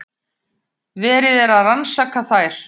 Verið er að rannsaka þær